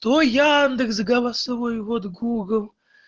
то яндекс голосовой ввод гугл